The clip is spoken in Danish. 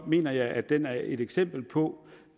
mener jeg at den er et eksempel på